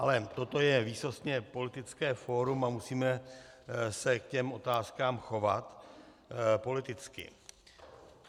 Ale toto je výsostně politické fórum a musíme se k těm otázkám chovat politicky.